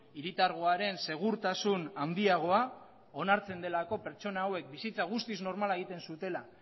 hiritargoaren segurtasun handiagoa onartzen delako pertsona hauek bizitza guztiz normala egiten zutela